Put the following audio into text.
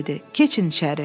Keçin içəri.